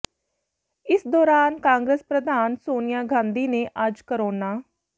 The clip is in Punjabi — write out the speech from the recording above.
ਇਸ ਦੌਰਾਨ ਕਾਂਗਰਸ ਪ੍ਰਧਾਨ ਸੋਨੀਆ ਗਾਂਧੀ ਨੇ ਅੱਜ ਕੋਰੋਨਾ